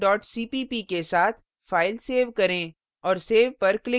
अब extension cpp के साथ file सेव करें